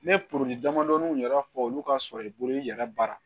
Ne ye damadɔni yɛrɛ fɔ olu ka sɔrɔ i bolo i yɛrɛ baara